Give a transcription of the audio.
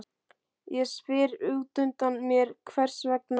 Ég spyr útundan mér hvers vegna